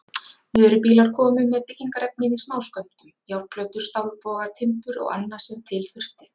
Vörubílar komu með byggingarefnið í smáskömmtum, járnplötur, stálboga, timbur og annað sem til þurfti.